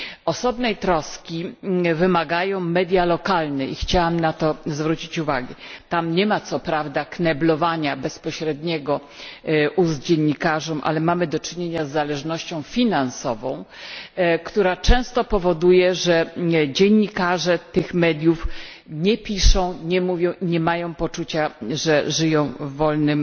Osobnej troski wymagają media lokalne i chciałam na to zwrócić uwagę. Tam nie ma co prawda bezpośredniego kneblowania ust dziennikarzom, ale mamy do czynienia z zależnością finansową, która często powoduje, że dziennikarze tych mediów nie piszą, nie mówią i nie mają poczucia, że żyją w wolnym